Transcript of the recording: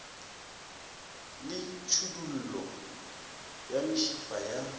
le tšhidullo ya mešifa ya